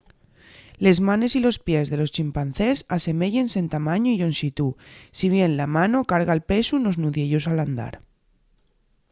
les manes y los pies de los chimpancés aseméyense en tamañu y llonxitú si bien la mano carga'l pesu nos nudiellos al andar